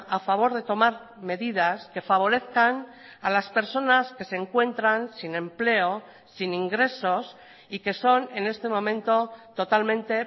a favor de tomar medidas que favorezcan a las personas que se encuentran sin empleo sin ingresos y que son en este momento totalmente